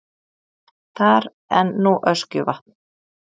Þar en nú Öskjuvatn.